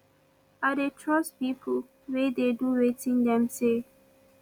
i dey trust pipo wey dey do wetin dem say